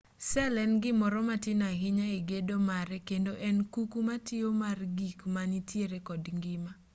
sel en gimoro matin ahinya e gedo mare kendo en kuku matiyo mar gik manitiere kod ngima